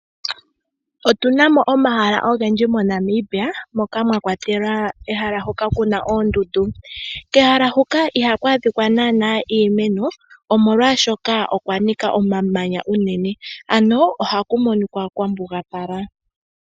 Otu na mo omahala ogendji moNamibia moka mwa kwatelwa ehala hoka ku na oondundu. Kehala huka iha ku adhika naanaa iimeno molwaashoka okwa nika omamanya unene , ano oha ku monika kwa mbugapala.